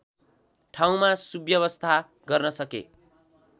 ठाउँमा सुव्यवस्था गर्न सके